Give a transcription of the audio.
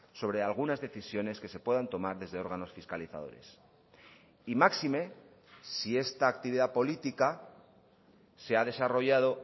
sobre algunas decisiones que se puedan tomar desde órganos fiscalizadores y máxime si esta actividad política se ha desarrollado